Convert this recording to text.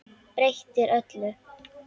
Breytir öllu.